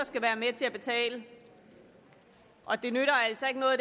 skal være med til at betale og det nytter altså ikke noget